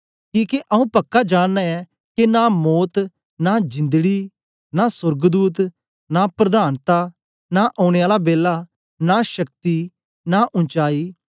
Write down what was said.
किके आंऊँ पक्का जानना ऐं के नां मौत नां जिंदड़ी नां सोर्गदूत नां प्रधानता नां उनै दा बेला नां औने आला बेला नां शक्ति नां उचाई